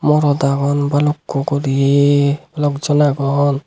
morot agon balukku gori balok jon agon.